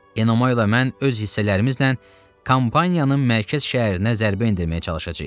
Enomay ilə mən öz hissələrimizlə kampaniyanın mərkəz şəhərinə zərbə endirməyə çalışacağıq.